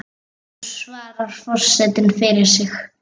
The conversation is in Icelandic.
Nú svarar forseti fyrir sig.